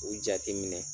U jateminɛ